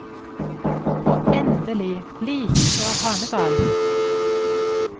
Og endelig, like før hanegal.